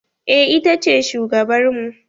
Eh ita ce shugabar mu.